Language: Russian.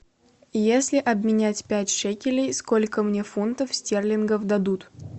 если обменять пять шекелей сколько мне фунтов стерлингов дадут